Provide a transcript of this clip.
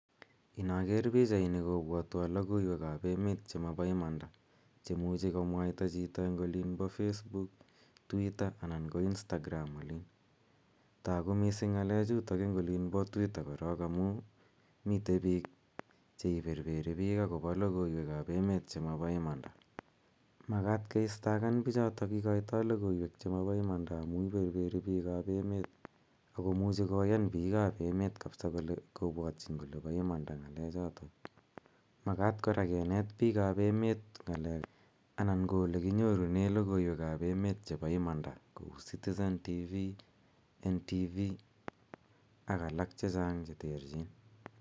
Inaker pichaini kopwatwa logoiwek ap emet che mapa imanda che imuchi komwaita chito eng' olin pa Facebook, Twitter ana ko Instagram olin. Tagu missing' ng'alechu eng' olin pa twitter korok amu mite pik che iperperi pich akopa logoiwek ap emet che mapa imanda. Makat keistakan pichotok ikaitai logoiwek che ma pa imanda amun iperperi pik ap emet ako muchi koyan pik ap emet kapsa kopwatchin kole pa imanda ng'alechotok. Makat kora kinet pik ap emet ng'alek anan ko ole kinyorune logoiwek ap emet chepa imanda kpu Citizen tv, Ntv ak alak che chan' che terchin.